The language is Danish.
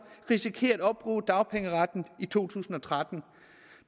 risikerer at opbruge dagpengeretten i to tusind og tretten